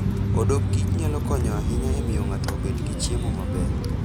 Odok kich nyalo konyo ahinya e miyo ng'ato obed gi chiemo maber.